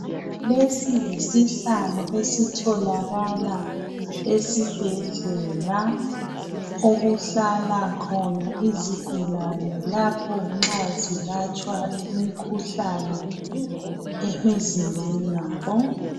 Lesi yisihlalo esitholakala esibhedlela okuhlala khona izigulane nxa zilatshwa imikhuhlane emizimbeni yabo.